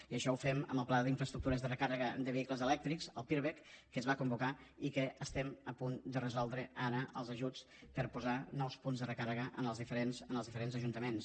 i això ho fem amb el pla d’infraestructures de recàrrega de vehicles elèctrics el pirvec que es va convocar i que estem a punt de resoldre’n ara els ajuts per posar nous punts de recàrrega en els diferents ajuntaments